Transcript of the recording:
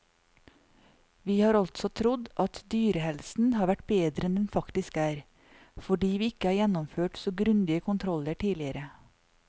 Vi har altså trodd at dyrehelsen har vært bedre enn den faktisk er, fordi vi ikke har gjennomført så grundige kontroller tidligere.